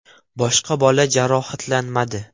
Boshqa bola jarohatlanmadi.